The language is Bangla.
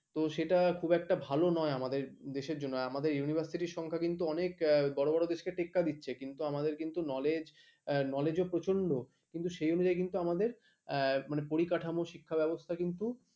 তো সেটা একটা খুব একটা ভালো নয় আমাদের দেশের জন্য আর কি আমাদের university সংখ্যা কিন্তু অনেক বড় বড় দেশকে টেক্কা দিচ্ছি কিন্তু আমাদের knowledge knowledge ও প্রচন্ড কিন্তু সেই অনুযায়ী আমাদের পরিকাঠামো শিক্ষা ব্যবস্থা কিন্তু